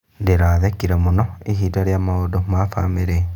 Ndĩrathekire mũno ihinda rĩa maũndũ ma bamĩrĩ.